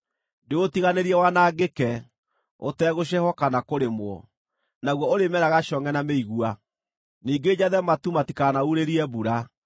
Ndĩũtiganĩrie wanangĩke, ũtegũcehwo kana kũrĩmwo, naguo ũrĩmeraga congʼe na mĩigua. Ningĩ njathe matu matikanaurĩrie mbura.”